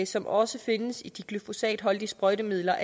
som også findes i de glyfosatholdige sprøjtemidler